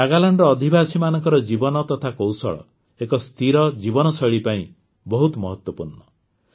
ନାଗାଲାଣ୍ଡର ଅଧିବାସୀମାନଙ୍କ ଜୀବନ ତଥା କୌଶଳ ଏକ ସ୍ଥିର ଜୀବନଶୈଳୀ ପାଇଁ ବହୁତ ମହତ୍ୱପୂର୍ଣ୍ଣ